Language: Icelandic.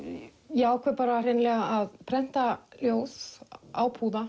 ég ákveð hreinlega að prenta ljóð á púða